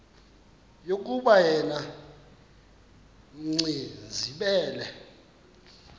yokuba yena gcinizibele